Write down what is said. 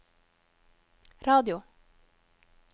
radio